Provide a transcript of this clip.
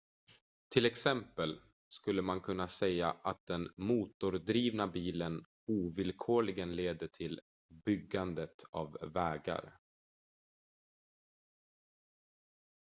till exempel skulle man kunna säga att den motordrivna bilen ovillkorligen leder till byggandet av vägar